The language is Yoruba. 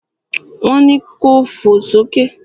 Wọn ni ko fò sókè!